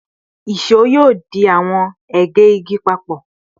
ìṣó yoo di awọn ege igi papọ